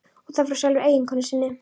Og það frá sjálfri eiginkonu sinni.